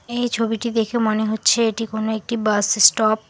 এই ছবিটি দেখে মনে হচ্ছে এটি কোনো একটি বাস স্টপ ।